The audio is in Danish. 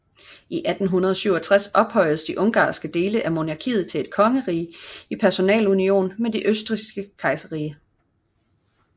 I 1867 ophøjedes de ungarske dele af monarkiet til et kongerige i personalunion med det østrigske kejserrige